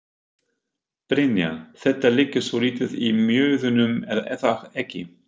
Brynja: Þetta liggur svolítið í mjöðmunum er það ekki?